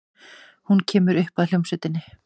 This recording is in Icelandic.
Hún kemur upp að hljómsveitinni.